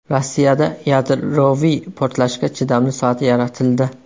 Rossiyada yadroviy portlashga chidamli soat yaratildi.